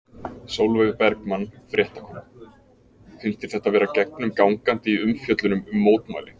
Sólveig Bergmann, fréttakona: Finnst þér þetta vera gegnum gangandi í umfjöllunum um mótmæli?